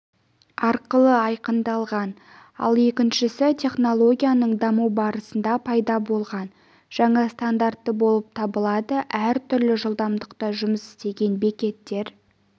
арқылы айқындалған ал екіншісі технологиясының дамуы барысында пайда болған жаңа стандарты болып табылады әртүрлі жылдамдықта жұмыс істеген бекеттер